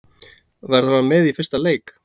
Verður hann með í fyrsta leik?